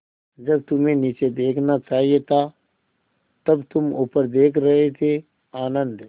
जब तुम्हें नीचे देखना चाहिए था तब तुम ऊपर देख रहे थे आनन्द